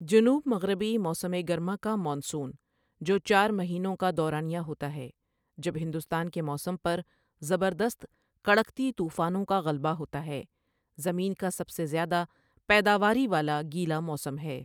جنوب مغربی موسم گرما کا مانسون، جو چار مہینوں کا دورانیہ ہوتا ہے جب ہندوستان کے موسم پر زبردست کڑکتی طوفانوں کا غلبہ ہوتا ہے، زمین کا سب سے زیادہ پیداواری والا گیلا موسم ہے۔